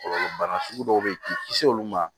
Kɔlɔlɔ bana sugu dɔw bɛ yen k'i kisi olu ma